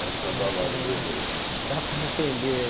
Essa é a balada do eleito. Muito bom, dá para entender